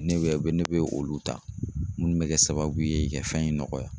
Ne bɛ ne bɛ olu ta munnu bɛ kɛ sababu ye i ka fɛn in nɔgɔya.